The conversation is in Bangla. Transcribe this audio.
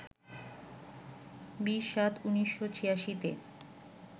২০-৭-১৯৮৬-তে